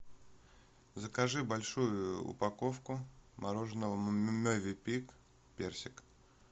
закажи большую упаковку мороженого мовенпик персик